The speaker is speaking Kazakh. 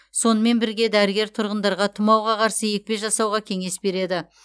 сонымен бірге дәрігер тұрғындарға тұмауға қарсы екпе жасауға кеңес береді